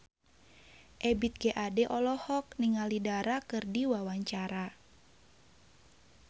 Ebith G. Ade olohok ningali Dara keur diwawancara